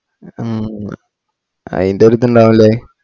ആഹ് അയിന്റെയൊരു ഇതുണ്ടാവൂല്ലേ